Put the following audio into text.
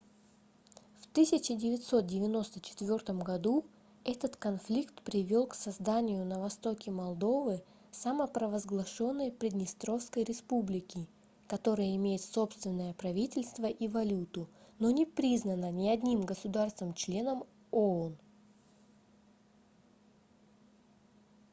в 1994 году этот конфликт привёл к созданию на востоке молдовы самопровозглашённой приднестровской республики которая имеет собственное правительство и валюту но не признана ни одним государством-членом оон